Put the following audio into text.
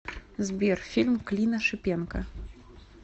сбер фильм клина шипенко